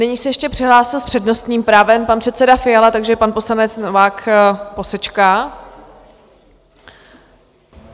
Nyní se ještě přihlásil s přednostním právem pan předseda Fiala, takže pan poslanec Novák posečká.